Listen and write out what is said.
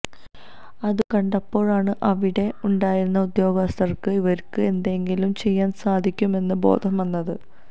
അതുകണ്ടപ്പോഴാണ് അവിടെ ഉണ്ടായിരുന്ന ഉദ്യോഗസ്ഥര്ക്ക് ഇവര്ക്ക് എന്തെങ്കിലും ചെയ്യാന് സാധിക്കും എന്ന ബോധ്യം വന്നത്